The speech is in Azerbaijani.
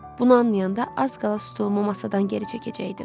Bunu anlayanda az qala stulumu masadan geri çəkəcəkdim.